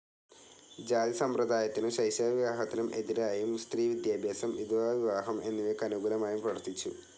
ജാതിസമ്പ്രദായത്തിനും ശൈശവ വിവാഹത്തിനും എതിരായും സ്ത്രീ വിദ്യാഭ്യാസം, വിധവാ വിവാഹം എന്നിവയ്ക്ക് അനുകൂലമായും പ്രവർത്തിച്ചു.